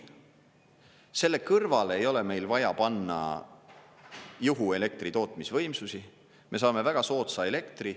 Selle kõrvale ei ole meil vaja panna juhu-elektritootmisvõimsusi, me saame väga soodsa elektri.